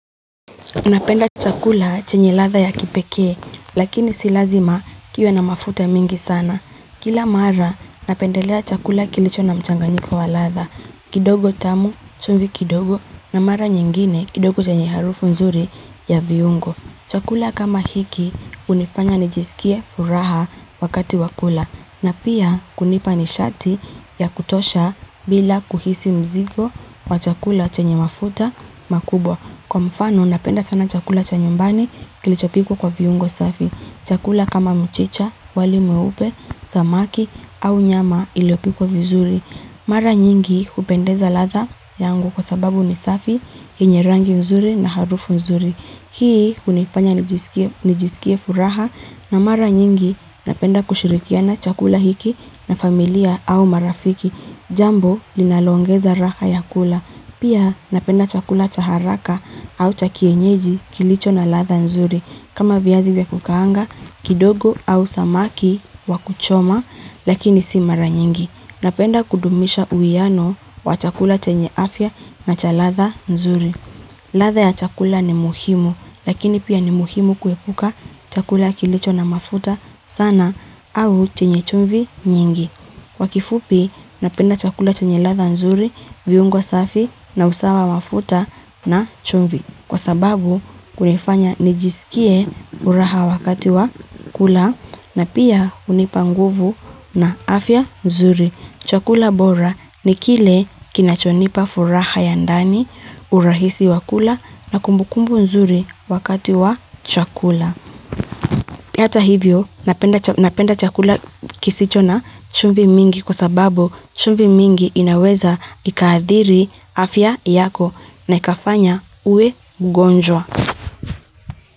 Napenda chakula chenye ladha ya kipeke, lakini silazima kiwe na mafuta mengi sana. Kila mara, napendelea chakula kilicho na mchanganyiko wa ladha. Kidogo tamu, chungu kidogo, na mara nyingine kidogo chenye harufu nzuri ya viungo. Chakula kama hiki, unifanya nijisikie furaha wakati wakula, na pia kunipani shati ya kutosha bila kuhisi mzigo wa chakula chenye mafuta makubwa. Kwa mfano, napenda sana chakula chanyumbani kilichopikwa kwa viungo safi. Chakula kama mchicha, walimweupe, samaki au nyama iliopikwa vizuri. Mara nyingi kupendeza ladha yangu kwa sababu ni safi, yenye rangi nzuri na harufu nzuri. Hii kunifanya nijisikie furaha na mara nyingi napenda kushirikiana chakula hiki na familia au marafiki. Jambo linaloongeza raha ya kula. Pia napenda chakula chaharaka au chakienyeji kilicho na ladha nzuri. Kama viazi vya kukaanga, kidogo au samaki wakuchoma, lakini si mara nyingi. Napenda kudumisha uwiano wa chakula chenye afya na chaladha nzuri. Ladha ya chakula ni muhimu, lakini pia ni muhimu kuepuka chakula kilicho na mafuta sana au chenye chumvi nyingi. Kwakifupi napenda chakula chanyeladha nzuri viungo safi na usawa wa mafuta na chumvi. Kwa sababu kunifanya nijisikie furaha wakati wa kula na pia unipanguvu na afya nzuri. Chakula bora ni kile kinachonipa furaha ya ndani urahisi wa kula na kumbukumbu nzuri wakati wa chakula. Hata hivyo napenda chakula kisicho na chumvi mingi kwa sababu chumvi mingi inaweza ikaadhiri afya yako na ikafanya uwe mgonjwa.